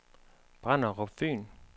Brenderup Fyn